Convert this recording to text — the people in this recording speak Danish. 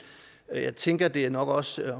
og jeg tænker at det nok også